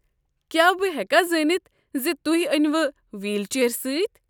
کیٛاہ بہٕ ہٮ۪کا زٲنتھ ز تُہۍ أنوٕ ویٖل چیئر سۭتۍ؟